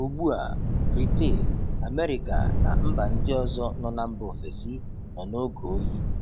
Ugbu a, Britain, America na mba ndị ọzọ nọ na mba ofesi nọ n'oge oyi.